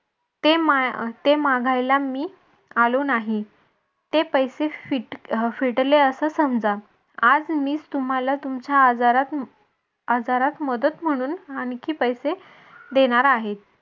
ते माघायला मी आलो नाही. ते पैसे फिटले असं समजा आज मी तुम्हाला तुमच्या आजारात आजारात मदत म्हणून आणखी पैसे देणार आहे.